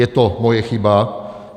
Je to moje chyba.